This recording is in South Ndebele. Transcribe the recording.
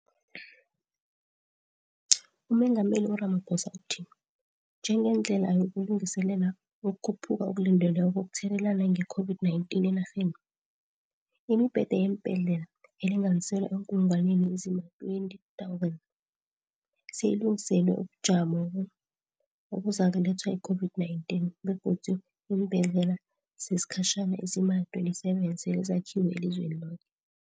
UMengameli u-Ramaphosa uthi, njengendlela yokulungiselela ukukhuphuka okulindelweko kokuthelelana nge-COVID-19 enarheni, imibhede yembhedlela elinganiselwa eenkulungwaneni ezima-20 000 seyilungiselelwe ubujamobo obuzakulethwa yi-COVID-19, begodu iimbhedlela zesikhatjhana ezima-27 sele zakhiwe elizweni loke.